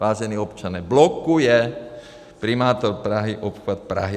Vážený občane, blokuje primátor Prahy obchvat Prahy.